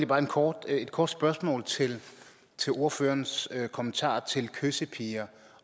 bare et kort et kort spørgsmål til ordførerens kommentar om kyssepiger